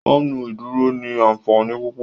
Fáànù ìdúró ní ànfàní púpọ